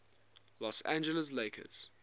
los angeles lakers